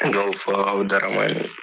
dɔw fɔ u darama